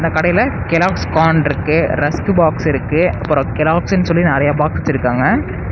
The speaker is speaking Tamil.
இந்த கடையில கெலாக்ஸ் கான் இருக்கு ரஸ்க்கு பாக்ஸ் இருக்கு அப்புறோ கெலாக்ஸ்ன்னு சொல்லி நெறையா பாக்ஸ் வெச்சுருக்காங்க.